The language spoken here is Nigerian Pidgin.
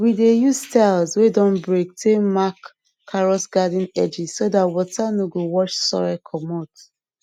we dey use tiles wey don break take mark carrot garden edge so that water no go wash soil commot